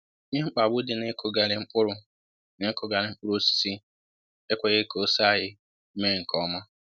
Ihe mkpagbu dị na ịkụghari mkpụrụ na ịkụghari mkpụrụ osisi e kweghi ka ose anyị mee nkè ọma